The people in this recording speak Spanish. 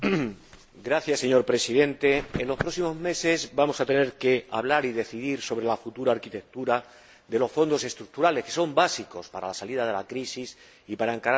Señor Presidente, en los próximos meses vamos a tener que hablar y decidir sobre la futura arquitectura de los Fondos Estructurales, que son básicos para la salida de la crisis y para encarar la Estrategia